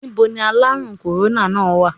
Níboni aláàrùn kòróná náà wà?